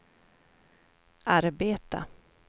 arbeta